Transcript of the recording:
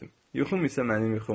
Yuxum isə mənim yuxum.